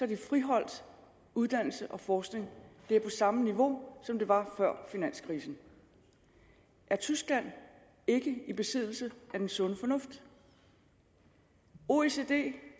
de friholdt uddannelse og forskning det er på samme niveau som det var før finanskrisen er tyskland ikke i besiddelse af den sunde fornuft oecd